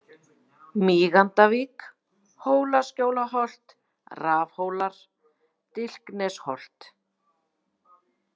Mígandavík, Hólaskjólsholt, Rafthólar, Dilknesholt